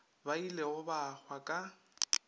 ba ilego ba hwa ka